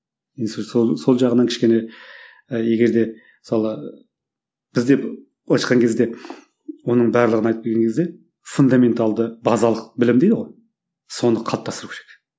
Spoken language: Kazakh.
енді сол сол сол жағынан кішкене ы егер де мысалы бізде былайша айтқан кезде оның барлығын айтып келген кезде фундаменталды базалық білім дейді ғой соны қалыптастыру керек